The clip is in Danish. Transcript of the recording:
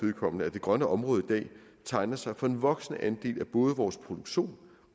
vedkommende at det grønne område i dag tegner sig for en voksende andel af både vores produktion